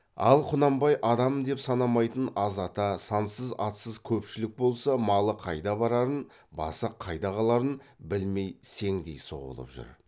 ал құнанбай адам деп санамайтын аз ата сансыз атсыз көпшілік болса малы қайда барарын басы қайда қаларын білмей сеңдей соғылып жүр